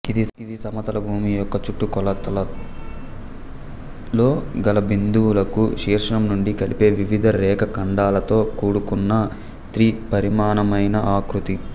ఇది సమతల భూమి యొక్క చుట్టుకొలతలో గల బిందువులకు శీర్షం నుండి కలిపే వివిధ రేఖాఖండాలతో కూడుకున్న త్రిపరిమాణమైన ఆకృతి